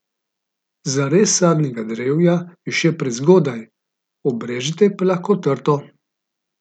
Za rez sadnega drevja je še prezgodaj, obrežete pa lahko trto.